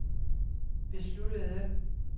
besluttede